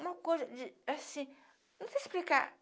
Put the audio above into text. Uma coisa de, assim... Não sei explicar.